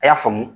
A y'a faamu